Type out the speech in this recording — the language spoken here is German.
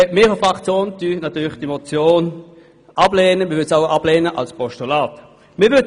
Unsere Fraktion lehnt diese Motion natürlich ab und würde den Vorstoss auch als Postulat ablehnen.